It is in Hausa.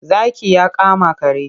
Zaki ya kama kare.